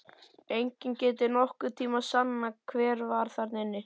Enginn getur nokkurn tíma sannað hver var þarna inni!